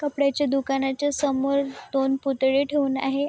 कपड्याचे दुकानाच्या समोर दोन पुतळे ठेऊन आहे.